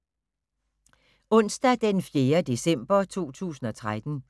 Onsdag d. 4. december 2013